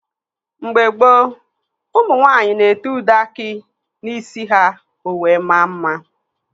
Mgbe gboo, ụmụ nwaanyị na-ete ude aki n'isi ha ọ wee mmaa mma.